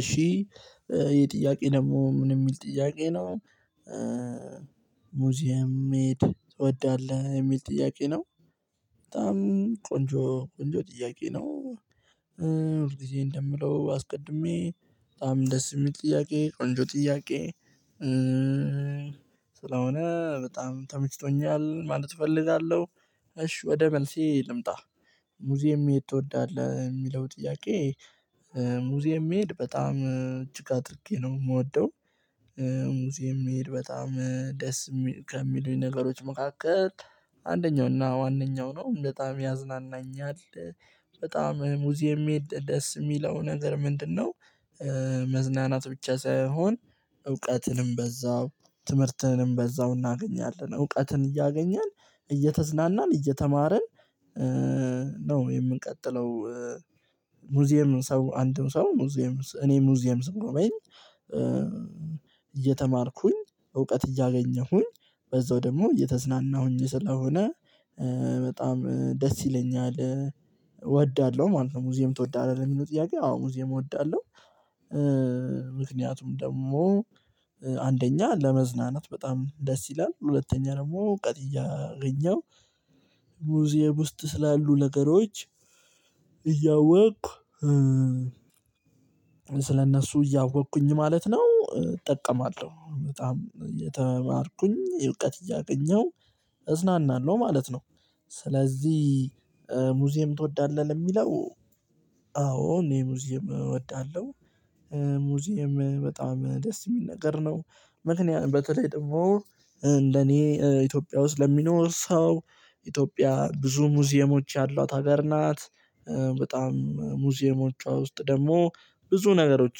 እሺ ይሄ ጥያቄ ደግሞ ምን የሚል ጥያቄ ነው። ሙዚየም መሄድ ትወዳለህ የሚል ጥያቄ ነው። በጣም ቆንጆ ቆንጆ ጥያቄ ነው። ሁል ጊዜ እንደምለው አስቀድሜ በጣም ደስ የሚል ጥያቄ ቆንጆ ጥያቄ። ስለሆነ በጣም ተመችቶኛል ማለት እፈልጋለሁ። እሺ ወደ መልሴ ልምጣ። ሙዚየም መሄድ ትወዳለህ የሚለው ጥያቄ። ሙዚየም መሄድ በጣም እጅግ አድርጌ ነው የምወደው። ሙዚየም መሄድ በጣም ደስ ከሚሉኝ ነገሮች መካከል አንደኛው እና ዋነኛው ነው በጣም ያዝናናኛል። በጣም ሙዚየም ደስ የሚለው ነገር ምንድነው? መዝናናት ብቻ ሳይሆን እውቀትንም በዛው ትምህርትንም በዛው እናገኛለን እውቀትን እያገኘን እየተዝናናን እየተማርን ነው የምንቀጥለው። ሙዚየም ሰው አንድም ሰው ሙዚየም እኔ ሙዚየም ስም ነው በይ እየተማርኩኝ እውቀት እያገኘሁኝ በዛው ደግሞ እየተዝናናሁኝ ስለሆነ በጣም ደስ ይለኛል እወዳለሁ ማለት ነው። ሙዚየም ትወዳለህ? የሚለው ጥያቄ አዎ ሙዚየም እወዳለሁ። ምክንያቱም ደግሞ አንደኛ ለመዝናናት በጣም ደስ ይላል ሁለተኛ ደግሞ እውቀት እያገኘው። ሙዚየም ውስጥ ስላሉ ነገሮች እያወቅኩ ስለእነሱ እያወቅኩኝ ማለት ነው። እጠቀማለሁ በጣም እየተማርኩኝ እውቀት እያገኘሁ እዝናናለሁ ማለት ነው። ስለዚህ ሙዚየም ትወዳለህ ለሚለው አዎ እኔ ሙዚየም እወዳለሁ። ሙዚየም በጣም ደስ የሚል ነገር ነው። ምክንያቱም በተለይ ደግሞ ለኔ ኢትዮጵያ ውስጥ ለሚኖር ሰው ኢትዮጵያ ብዙ ሙዚየሞች ያሏት ሀገር ናት። በጣም ሙዚየሞቿ ውስጥ ደግሞ ብዙ ነገሮች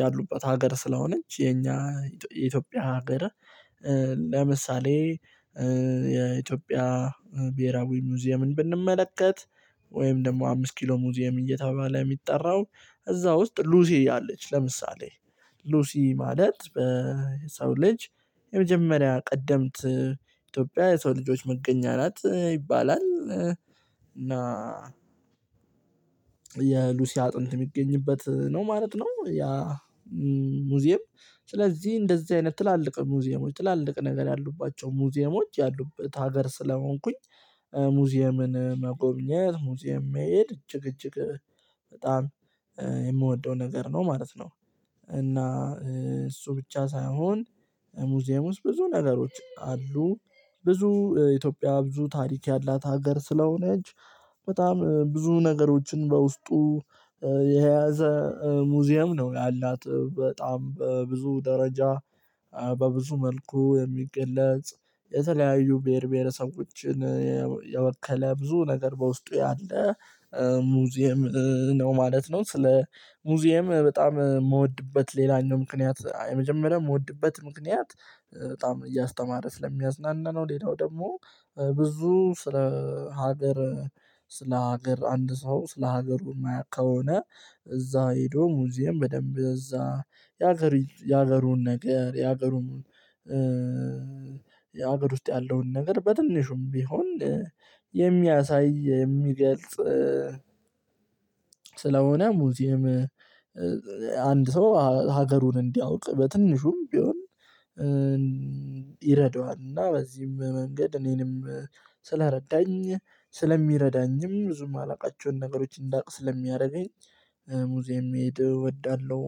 ያሉባት ሀገር ስለሆነች የኛ የኢትዮጵያ ሀገር። ለምሳሌ የኢትዮጵያ ብሄራዊ ሙዚየምን ብንመለከት ወይም ደግሞ አምስት ኪሎ ሙዚየም እየተባለ የሚጠራው እዛ ውስጥ ሉሲ አለች። ለምሳሌ ሉሲ ማለት በሰው ልጅ የመጀመሪያ ቀደምት ኢትዮጵያ የሰው ልጆች መገኛ ናት ይባላል። እና የሉሲያ አጥንት የሚገኝበት ነው ማለት ነው። ያ ሙዚየም ስለዚህ እንደዚህ አይነት ትላልቅ ሙዚየሞች ትላልቅ ነገር ያሉባቸው ሙዚየሞች ያሉበት ሀገር ስለሆንኩኝ። ሙዚየምን መጎብኘት ሙዚየም መሄድ እጅግ እጅግ በጣም የምወደው ነገር ነው ማለት ነው። እና እሱ ብቻ ሳይሆን ሙዚየም ውስጥ ብዙ ነገሮች አሉ። ብዙ ኢትዮጵያ ብዙ ታሪክ ያላት ሀገር ስለሆነች። በጣም ብዙ ነገሮችን በውስጡ የያዘ ሙዚየም ነው ያላት በጣም በብዙ ደረጃ በብዙ መልኩ የሚገለጽ የተለያዩ ብሄር ብሄረሰቦችን የወከለ ብዙ ነገር በውስጡ ያለ ሙዚየም ነው ማለት ነው። ስለ ሙዚየም በጣም የምወድበት ሌላኛው ምክንያት የመጀመሪያ የምወድበት ምክንያት በጣም እያስተማረ ስለሚያዝናና ነው። ሌላው ደግሞ ብዙ ስለ ሀገር ስለ ሀገር አንድ ሰው ስለ ሀገሩ የማያውቅ ከሆነ። እዛ ሄዶ ሙዚየም በደንብ እዛ የሀገሩን ነገር የሀገሩን የሀገር ውስጥ ያለውን ነገር በትንሹም ቢሆን የሚያሳይ የሚገልጽ ስለሆነ ሙዚየም። አንድ ሰው ሀገሩን እንዲያውቅ በትንሹም ቢሆን ይረዳዋል። እና በዚህም መንገድ እኔንም ስለረዳኝ ስለሚረዳኝም ብዙም ማላውቃቸውን ነገሮች እንዳውቅ ስለሚያደርገኝ ሙዚየም መሄድ እወዳለሁ።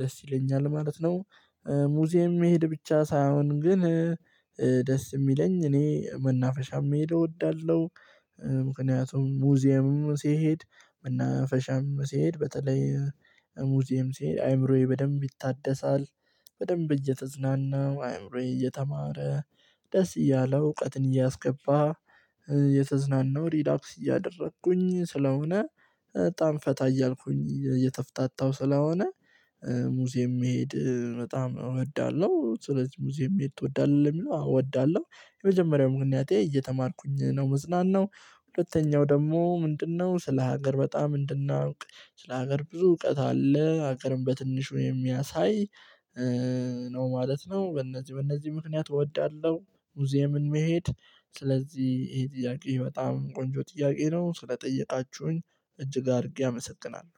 ደስ ይለኛል ማለት ነው። ሙዚየም መሄድ ብቻ ሳይሆን ግን የሚለኝ እኔ መናፈሻም የምሄደው እወዳለሁ። ምክንያቱም ሙዚየምም ሲሄድ መናፈሻም ሲሄድ በተለይ ሙዚየም ሲሄድ አይምሮዬ በደንብ ይታደሳል። በደንብ እየተዝናናው አይምሮዬ እየተማረ ደስ እያለው እውቀትን እያስገባ ሪላክስ እያደረኩኝ ስለሆነ በጣም ፈታ እያልኩኝ እየተፍታታው ስለሆነ። ሙዚየም መሄድ በጣም እወዳለሁ። ስለዚህ ሙዚየም የሚሄድ ትወዳለህ? የሚለው አወዳለሁ። የመጀመሪያው ምክንያቴ እየተማርኩኝ ነው መዝናናው ሁለተኛው ደግሞ ምንድነው ስለ ሀገር በጣም እንድናውቅ ስለ ሀገር ብዙ እውቀት አለ ሀገርም በትንሽ ወይ የሚያሳይ ነው ማለት ነው። በእነዚህ በእነዚህ ምክንያት እወዳለሁ። ሙዚየምን መሄድ ስለዚህ ይሄ ጥያቄ በጣም ቆንጆ ጥያቄ ነው። ስለጠየቃችሁኝ እጅግ አድርጌ አመሰግናለሁ።